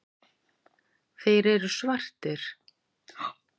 Þeir eru svartir.